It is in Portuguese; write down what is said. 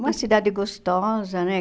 Uma cidade gostosa, né?